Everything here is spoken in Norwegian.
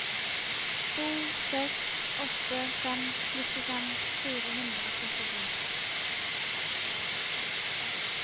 to seks åtte fem nittifem fire hundre og trettisju